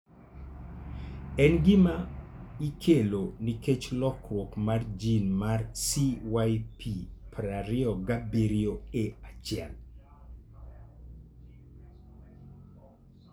En gima ikelo nikech lokruok mar gene mar CYP27A1.